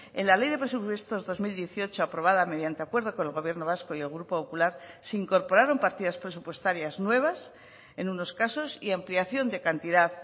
en la ley de presupuestos dos mil dieciocho aprobada mediante acuerdo con el gobierno vasco y el grupo popular se incorporaron partidas presupuestarias nuevas en unos casos y ampliación de cantidad